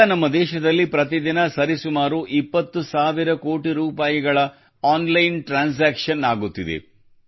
ಈಗ ನಮ್ಮ ದೇಶದಲ್ಲಿ ಪ್ರತಿದಿನ ಸರಿಸುಮಾರು 20 ಸಾವಿರ ಕೋಟಿ ರೂಪಾಯಿಗಳ ಆನ್ಲೈನ್ ಟ್ರಾನ್ಸಾಕ್ಷನ್ ಆಗುತ್ತಿದೆ